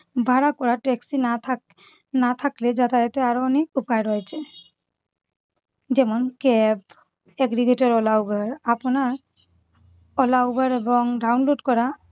ভাড়া করা taxi না থাক~ না থাকলে যাতায়াতের আরো অনেক উপায় রয়েছে। যেমন cab, aggregator, ola, uber আপনার ola, uber এবং download করা